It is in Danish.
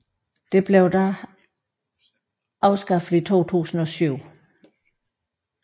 Dette blev dog afskaffet i 2007